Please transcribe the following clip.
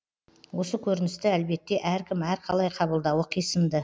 осы көріністі әлбетте әркім әрқалай қабылдауы қисынды